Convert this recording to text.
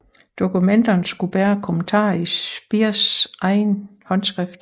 Dokumenterne skulle bære kommentarer i Speers egen håndskrift